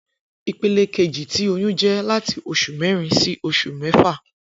Ipele keji ti oyun jẹ lati oṣu mẹrin si oṣu mẹfa